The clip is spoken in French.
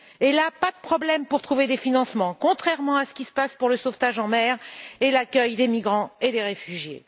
Et là, pas de problème pour trouver des financements, contrairement à ce qu'il se passe pour le sauvetage en mer et l'accueil des migrants et des réfugiés.